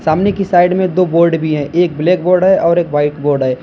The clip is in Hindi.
सामने की साइड में दो बोर्ड भी है एक ब्लैक बोर्ड है और एक व्हाइट बोर्ड है।